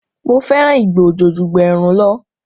Mo fẹ́ràn ìgbà òjò ju ìgbà ẹ̀rùn lọ